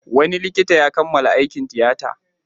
Wani likita ya kammala aikin tiyata.